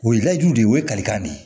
O ye layidu de o ye kalikan de